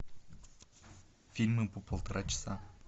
фильмы по полтора часа